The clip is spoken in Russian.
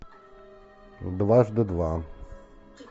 дважды два